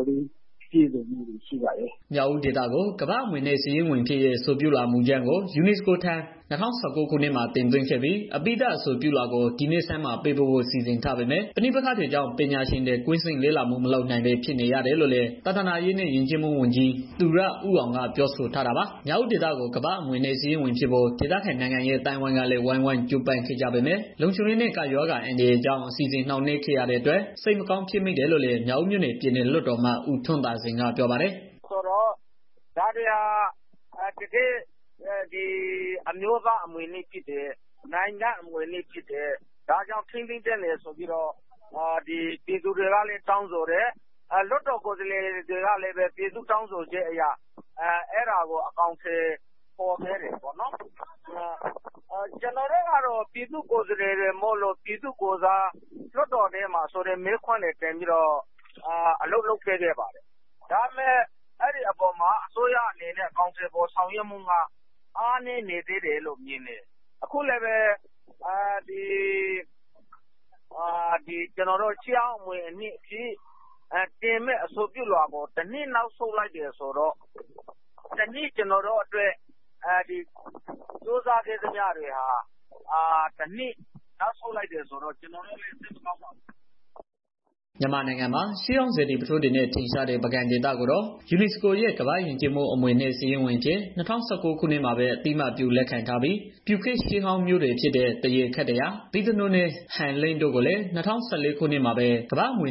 ာ်လေး ပြည့်စုံနေပါပြီ။” မြောက်ဦးဒေသကို ကမ္ဘာ့အမွေအနှစ်စာရင်းဝင်ဖြစ်ရေး အဆိုပြုလွှာ မူကြမ်းကို UNESCO ထံ ၂၀၁၉ ခုနှစ်မှာ တင်သွင်းခဲ့ပြီး အပြီးသတ် အဆိုပြုလွှာကို ဒီနှစ်ဆန်းမှာ ပေးပို့ဖို့ စီစဉ်ထားပေမဲ့ ပဋိပက္ခတွေကြောင့် ပညာရှင်တွေ ကွင်းဆင်းလေ့လာမှုတွေ မလုပ်နိုင်ပဲ ဖြစ်နေရတယ်လို့ လည်း သာသနာရေးနဲ့ ယဉ်ကျေးမှုဝန်ကြီး သူရဦးအောင်ကိုက ပြောဆိုထားတာပါ။ မြောက်ဦးဒေသကို ကမ္ဘာ့အမွေအနှစ် စာရင်းဝင်ဖြစ်ဖို့ ဒေသခံနိုင်ငံရေး အသိုင်းအဝန်းကလည်း ဝိုင်းဝန်းကြိုးပမ်းခဲ့ကြပေမဲ့ လုံခြုံရေးနဲ့ ကပ်ရောဂါ အန္တရာယ်ကြောင့် အစီအစဉ် နှောင့်နှေးခဲ့ရ တဲ့အတွက် စိတ်မကောင်း ဖြစ်မိတယ်လို့လည်း မြောက်ဦးမြို့နယ် ပြည်နယ်လွှတ်တော်အမတ် ဦးထွန်းသာစိန် ကပြောပါတယ်။ “ ဒါတွေဟာ တကယ် အမျိုးသားအမွေအနှစ်ဖြစ်တယ်။ နိုင်ငံရဲ့ အမွေအနှစ်ဖြစ်တယ်။ ဒါကြောင့် ထိန်းသိမ်းရမယ်ဆိုပြီးတော့ ပြည်သူတွေကလည်း တောင်းဆိုတယ်။ လွှတ်တော် ကိုယ်စားလှယ်တွေ ကလည်း ပြည်သူ့တောင်းဆိုချက်ကို အကောင် အထည်ဖော်ခဲ့ တယ်ပေါ့ နော်။ ကျနော်တို့ကတော့ လွတ်တော်ထဲမှာ ပြည်သူ့ကိုယ်စားအလုပ်လုပ် ပေးခဲ့ပါ တယ်။ အဲဒီအပေါ်မှာ အစိုးရအနေနဲ့ အကောင်အထည် ဖော်ဆောင်ရွက်တာတွေက အားနည်းနေ သေးတယ်လို့ မြင်တယ်။ အခုလည်းပဲ အဆိုပြုလွှာတင်ဖို့ တစ်နှစ်နောက်ဆုတ် လိုက်တယ်။ ဆိုတော့ ကျနော်တို့ ကြိုးစားခဲ့တာ အရာမထင်တော့ ကျနော်တို့လည်း စိတ်မကောင်းပါဘူး။” မြန်မာနိုင်ငံမှာ ရှေးဟောင်းစေတီပုထိုးတွေနဲ့ ထင်ရှားတဲ့ ပုဂံဒေသကိုတော့ UNESCO ရဲ့ ကမ္ဘာ့ယဉ်ကျေးမှုအမွေအနှစ် စာရင်းဝင်အဖြစ် ၂၀၁၉ ခုနှစ်မှာပဲ အသိအမှတ်ပြု လက်ခံထားပြီး၊ ပျုခေတ်ရှေးဟောင်းမြို့တွေဖြစ်တဲ့ သရေခေတ္တရာ၊ ဗိဿနိုးနဲ့ ဟန်လင်း တို့ကိုလည်း ၂၀၁၄ ခုနှစ်မှာပဲ ကမ္ဘာ့အမွေ